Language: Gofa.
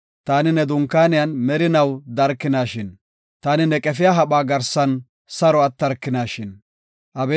Taani ne dunkaaniyan merinaw darkinaashin! Taani ne qefiya hapha garsan saro attarkinaashin! Salaha